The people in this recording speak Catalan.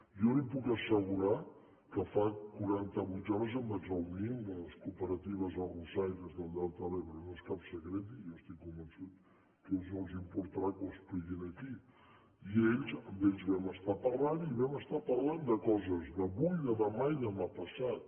jo li puc assegurar que fa qua·ranta·vuit hores que em vaig reunir amb les coopera·tives arrossaires del delta de l’ebre no és cap secret i jo estic convençut que a ells no els importarà que ho expliqui aquí i ells amb ells vam estar parlant i vam estar parlant de coses d’avui de demà i demà passat